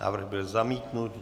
Návrh byl zamítnut.